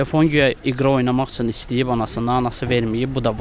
Telefon guya iqra oynamaq üçün istəyib anasından, anası verməyib, bu da vurub.